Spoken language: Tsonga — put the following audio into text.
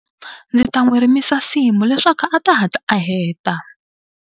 Ndzi ta n'wi rimisa nsimu leswaku a ta hatla a heta.